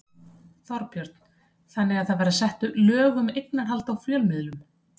Þorbjörn: Þannig það verða sett lög um eignarhald á fjölmiðlum?